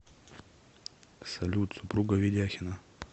салют супруга ведяхина